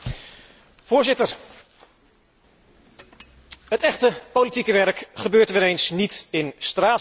Voorzitter, het echte politieke werk gebeurt weer eens niet in Straatsburg.